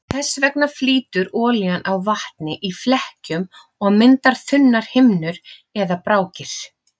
Þess vegna flýtur olían á vatni í flekkjum og myndar þunnar himnur eða brákir.